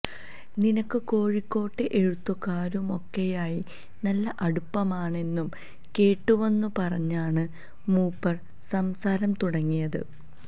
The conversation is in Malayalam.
നിനക്ക് കോഴിക്കോട്ടെ എഴുത്താകാരുമൊക്കെയായി നല്ല അടുപ്പമാണെന്നു കേട്ടുവെന്നു പറഞ്ഞാണ് മൂപ്പര് സംസാരം തുടങ്ങിയത്